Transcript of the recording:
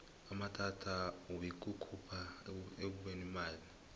amathba wikukhuphuka ekubekweni kwemali